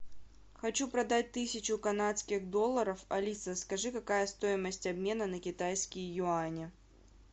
хочу продать тысячу канадских долларов алиса скажи какая стоимость обмена на китайские юани